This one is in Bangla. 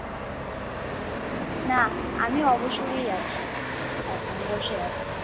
না আমি অবসরই আছি, এখন বসে আছি।